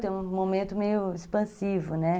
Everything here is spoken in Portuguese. Tem um momento meio expansivo, né?